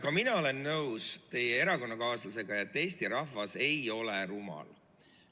Ka mina olen teie erakonnakaaslasega nõus, et Eesti rahvas ei ole rumal.